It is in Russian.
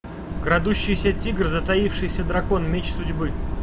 крадущийся тигр затаившийся дракон меч судьбы